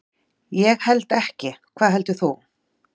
Ég held ekki, hvað heldur þú?